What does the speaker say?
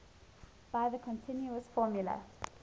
by the continuous formula